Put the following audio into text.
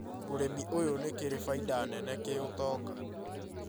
ũrĩmi ũyũ nĩ kĩrĩ baida nene kĩũtonga,